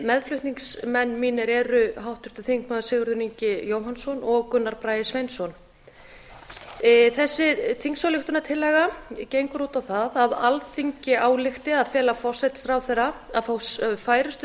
meðflutningsmenn mínir eru háttvirtir þingmenn sigurður ingi jóhannsson og gunnar bragi sveinsson þessi þingsályktunartillaga gengur út á það að alþingi álykti að fela forsætisráðherra að fá færustu